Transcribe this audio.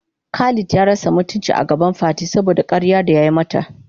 Khalid ya rasa mutuncin agaban Fati saboda karyar da yayi mata.